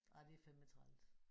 Ej det er fandeme træls